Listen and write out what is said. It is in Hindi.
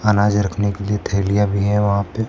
अनाज रखने के लिए थैलियां भी हैं वहां पे।